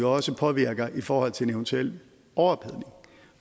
også påvirker i forhold til en eventuel overophedning